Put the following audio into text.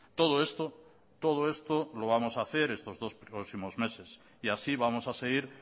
todo esto todo esto lo vamos a hacer estos dos próximos meses y así vamos a seguir